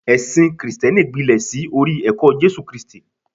ẹsìn Kristẹni gbilẹ sí orí ẹkọ Jésù kristi